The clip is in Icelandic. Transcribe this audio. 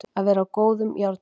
Að vera á góðum járnum